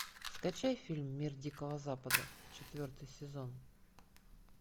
скачай фильм мир дикого запада четвертый сезон